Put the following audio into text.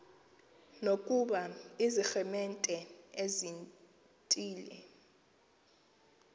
nokuba ziiremente ezithile